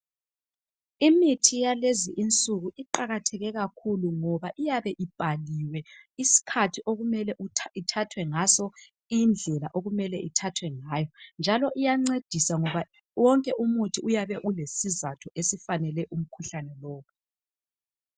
Imithi yakulezinsuku iqakatheke kakhulu ngoba iyabe ibhaliwe isikhathi okumele ithathwe ngaso, indlela okumele ithathwe ngayo. Njalo uyancedisa ngoba wonke umuthi uyabe ulesizatho esifanele umkhuhlane lowu.